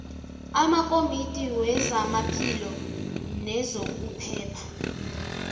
amakomidi wezamaphilo nezokuphepha